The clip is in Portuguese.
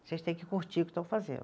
Vocês têm que curtir o que estão fazendo.